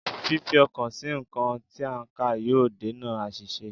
Fífi ọkàn sí nǹkan tí a ń kà yóò dènà àṣìṣe